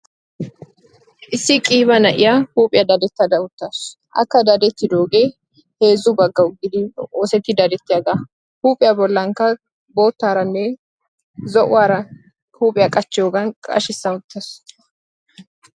Issi qiiba na'iyaa huuphphiyaa dadettada uttaasu akka dadettidoogee heezzu baggawu gididi oosettidi dadettiyaaga. huuphphiyaa bollankka boottaaranne zo"uwaara huuphphiyaa qachchiyoogan qashshissa uttasu.